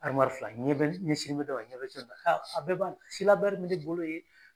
fila n ɲɛ be, n ɲɛsinnen bɛ dɔ ma i ɲɛ be dɔ in na a bɛɛ b'a la, be ne bolo yen.